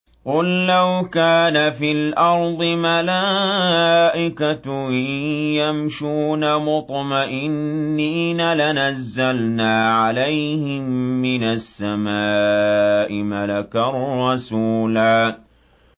قُل لَّوْ كَانَ فِي الْأَرْضِ مَلَائِكَةٌ يَمْشُونَ مُطْمَئِنِّينَ لَنَزَّلْنَا عَلَيْهِم مِّنَ السَّمَاءِ مَلَكًا رَّسُولًا